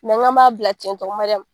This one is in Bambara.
n k'an m'a bila cɛntɔn Mariyamu.